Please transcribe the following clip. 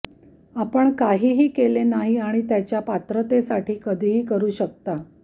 आपण काहीही केले नाही किंवा त्याच्या पात्रतेसाठी कधीही करू शकता